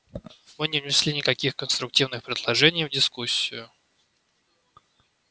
вы не внесли никаких конструктивных предложений в дискуссию